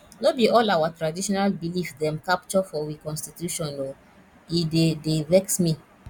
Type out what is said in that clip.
no be all our traditional belief dem capture for we constitution o e dey dey vex me